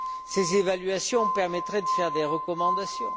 Ces évaluations permettraient de faire des recommandations.